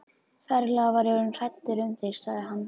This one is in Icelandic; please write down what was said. Ferlega var ég orðinn hræddur um þig sagði hann.